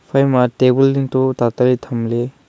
ephai ma table ding to tatari thamley.